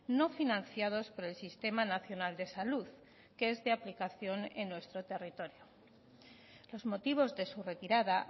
no financiados por el sistema nacional de salud que es de aplicación en nuestro territorio los motivos de su retirada